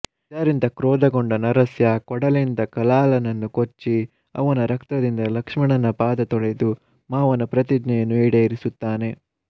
ಇದರಿಂದ ಕ್ರೋದಗೊಂಡ ನರಸ್ಯಾ ಕೊಡಲಿಯಿಂದ ಕಲಾಲನನ್ನುಕೊಚ್ಚಿ ಅವನ ರಕ್ತದಿಂದ ಲಕ್ಷ್ಮಣನ ಪಾದ ತೊಳೆದು ಮಾವನ ಪ್ರತಿಜ್ಞೆಯನ್ನುಈಡೇರಿಸುತ್ತಾನೆ